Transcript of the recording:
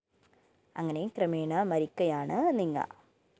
അങ്ങനെ ക്രമേണ മരിക്കയാണ് നിങ്ങ